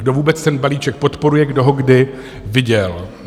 Kdo vůbec ten balíček podporuje, kdo ho kdy viděl.